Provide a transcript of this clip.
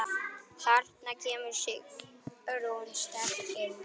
Þarna kemur Sigrún sterk inn.